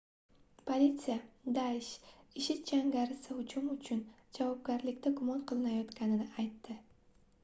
politsiya daish ishid jangarisi hujum uchun javobgarlikda gumon qilinayotganini aytdi